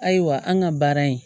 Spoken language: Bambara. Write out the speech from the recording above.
Ayiwa an ka baara in